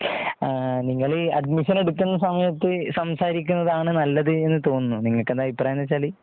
നിങ്ങൾ അഡ്മിഷൻ എടുക്കുന്ന സമയത്ത് സംസാരിക്കുന്നതാണ് നല്ലതെന്ന് തോന്നുന്നു നിങ്ങൾക്ക് എന്താ അഭിപ്രായം എന്ന് വച്ചാൽ.